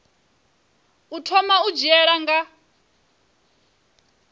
u thoma u dzhiela nha